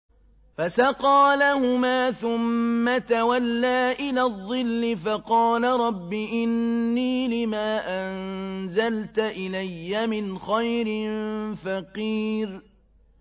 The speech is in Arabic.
فَسَقَىٰ لَهُمَا ثُمَّ تَوَلَّىٰ إِلَى الظِّلِّ فَقَالَ رَبِّ إِنِّي لِمَا أَنزَلْتَ إِلَيَّ مِنْ خَيْرٍ فَقِيرٌ